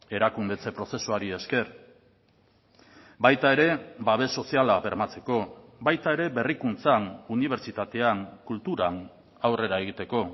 erakundetze prozesuari esker baita ere babes soziala bermatzeko baita ere berrikuntzan unibertsitatean kulturan aurrera egiteko